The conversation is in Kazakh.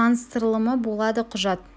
таныстырылымы болады құжат